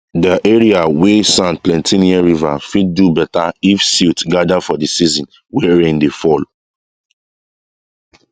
de area wey sand plenty near river fit do better if silt gather for the season wey rain dey fall